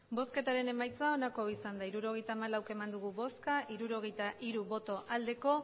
emandako botoak hirurogeita hamalau bai hirurogeita hiru ez